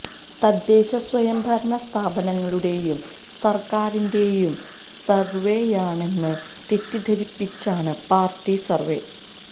തദ്ദേശ സ്വയംഭരണ സ്ഥാപനങ്ങളുടെയും സര്ക്കാരിന്റെയും സര്വെയാണെന്ന് തെറ്റിദ്ധരിപ്പിച്ചാണ് പാര്ട്ടി സര്വേ